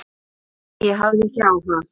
En ég hafði ekki áhuga.